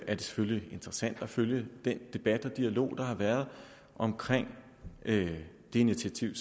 det selvfølgelig interessant at følge den debat og dialog der har været om det initiativ